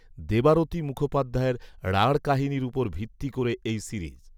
দেবারতি মুখোপাধ্যায়ের ‘রাঁঢ় কাহিনির' ওপর ভিত্তি করে এই সিরিজ